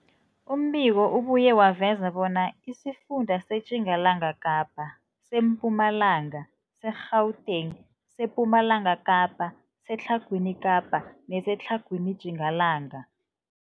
Umbiko ubuye waveza bona isifunda seTjingalanga Kapa, seMpumalanga, seGauteng, sePumalanga Kapa, seTlhagwini Kapa neseTlhagwini Tjingalanga.